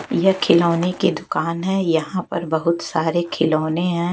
यह खिलौने की दुकान है यहां पर बहुत सारे खिलौने हैं।